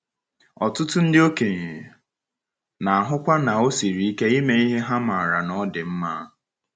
Ọtụtụ ndị okenye na-ahụkwa na ọ siri ike ime ihe ha maara na ọ dị mma.